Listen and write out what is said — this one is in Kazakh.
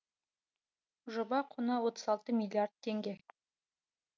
жоба құны отыз алты миллиард теңге